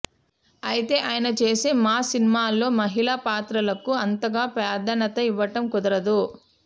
అయితే ఆయన చేసే మాస్ సినిమాల్లో మహిళ పాత్రలకు అంతగా ప్రాధాన్యత ఇవ్వటం కుదరదు